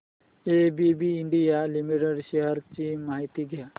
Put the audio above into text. ABB India limited shares ची माहिती द्या